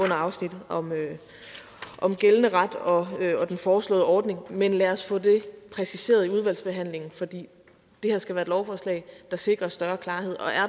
afsnittet om gældende ret og den foreslåede ordning men lad os få det præciseret i udvalgsbehandlingen for det det her skal være et lovforslag der sikrer større klarhed